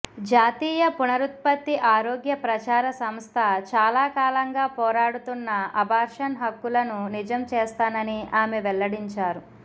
జాతీయ పునరుత్పత్తి ఆరోగ్య ప్రచార సంస్థ చాలాకాలంగా పోరాడుతున్న అబార్షన్ హక్కులను నిజం చేస్తానని ఆమె వెల్లడించారు